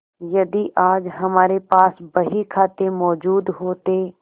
यदि आज हमारे पास बहीखाते मौजूद होते